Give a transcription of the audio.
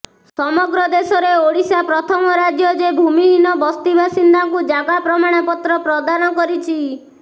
ସମଗ୍ର ଦେଶରେ ଓଡିଶା ପ୍ରଥମ ରାଜ୍ୟ ଯେ ଭୂମିହୀନ ବସ୍ତିବାସିନ୍ଦାଙ୍କୁ ଜାଗା ପ୍ରମାଣପତ୍ର ପ୍ରଦାନ କରିଛି